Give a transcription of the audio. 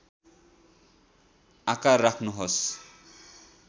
आकार राख्नुहोस्